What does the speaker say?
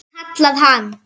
kallar hann.